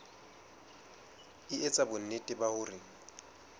e etsa bonnete ba hore